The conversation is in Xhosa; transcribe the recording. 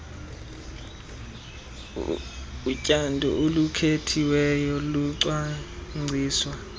utyando olukhethiweyo lucwangciswa